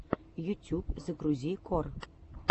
ютюб загрузи кор